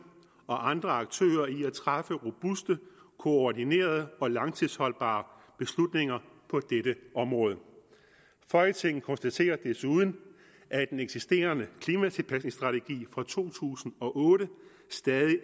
og andre aktører i at træffe robuste koordinerede og langtidsholdbare beslutninger på dette område folketinget konstaterer desuden at den eksisterende klimatilpasningsstrategi fra to tusind og otte stadig